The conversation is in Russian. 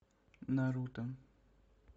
наруто